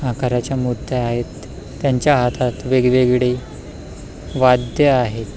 आकाराच्या मुर्त्या आहेत त्याच्या हातात वेगवेगडी वाद्य आहेत.